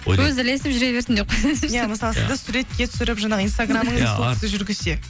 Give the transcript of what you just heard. өзі ілесіп жүре берсін деп иә мысалы сізді суретке түсіріп жаңағы инстаграмыңызды кісі жүргізсе